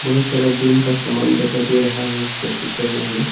बहुत सारा जिम का सामान दिखाई दे रहा है इस त पिक्चर में हमें--